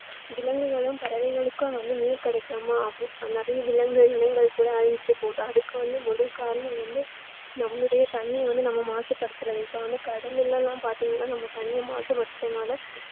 விலங்குகளும் பறவைகளுக்கும் வந்து நீர் கிடைக்காம அவ~ நிறைய விலங்கு இனங்கள் கூட அழிஞ்சிட்டு போகுது அதுக்கு வந்து முதல் காரணம் வந்து நம்முடைய தண்ணீர் வந்து நம்ம மாசுபடுத்துறது இப்போ வந்து கடல் எல்லாம் பார்த்தீங்கன்னா நாம தண்ணீர் மாசுபடுத்துறதுனால